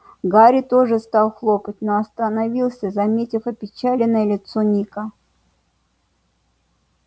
гарри тоже стал хлопать но остановился заметив опечаленное лицо ника